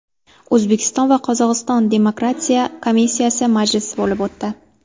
O‘zbekiston va Qozog‘iston demarkatsiya komissiyasi majlisi bo‘lib o‘tdi.